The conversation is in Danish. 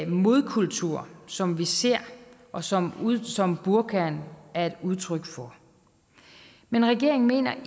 modkultur som vi ser og som som burkaen er et udtryk for men regeringen mener